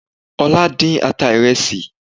Ọlá dín ata ìrẹsì